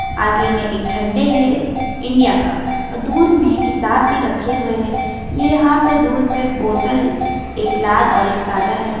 आगे में एक झंडे है इंडिया का और दूर में किताब भी रखे हुए है ये यहाँ पे दूर पे बोतल एक लाल और एक सादा है।